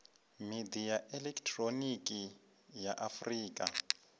midia ya elekihironiki ya afurika